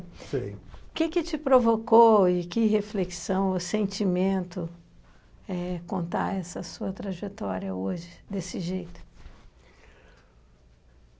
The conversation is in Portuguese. O que que te provocou e que reflexão ou sentimento é contar essa sua trajetória hoje desse jeito?